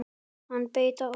Hann beit á!